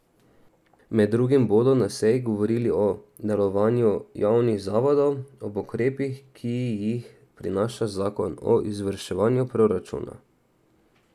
Med drugim bodo na seji govorili o delovanju javnih zavodov ob ukrepih, ki jih prinaša zakon o izvrševanju proračuna.